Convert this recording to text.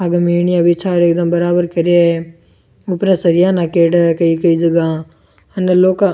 आगे मेनिया बिछाये एकदम बराबर करिया है ऊपरे सरिया नाक्योडा है कई कई जगह अंदर लौह का --